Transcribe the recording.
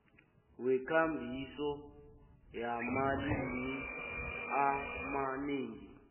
wekambiso yamalimi amanengi